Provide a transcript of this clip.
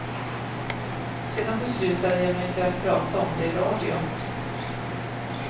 Sedan beslutade jag mig för prata om det i radio.